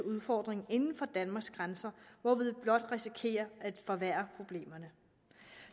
udfordringen inden for danmarks grænser hvorved vi blot risikerer at forværre problemerne